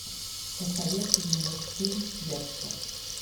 посоветуй мне мультфильм декстер